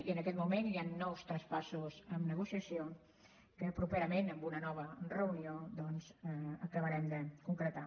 i en aquest moment hi han nous traspassos en negociació que properament en una nova reunió doncs acabarem de concretar